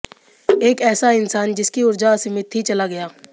एक ऐसा इंसान जिसकी ऊर्जा असीमित थी चला गया